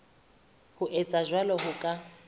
ho etsa jwalo ho ka